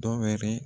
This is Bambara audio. Dɔ wɛrɛ